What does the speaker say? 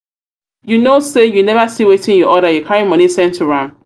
you know say you never see wetin you order you carry money send to am.